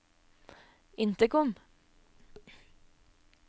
intercom